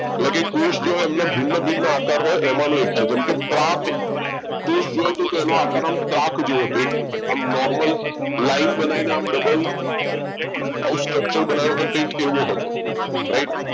એટલે કે કોષ જે હોય એમના ભિન્ન ભિન્ન આકાર હોય એમાં એમાંનો એક છે જેમકે ત્રાક કોષ જોઈએ તો એનો આકાર જેવો હતો એક normal line બનાવીને ડબલ આવ structure બનાવ્યું હોય એવું કંઈ હતું right